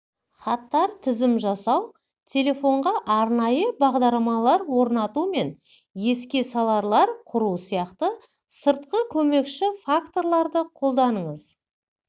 хаттар тізім жасау телефонға арнайы бағдарламалар орнату мен еске саларлар құру сияқты сыртқы көмекші факторларды қолданыңыз